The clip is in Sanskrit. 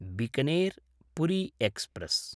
बीकानेर्–पुरी एक्स्प्रेस्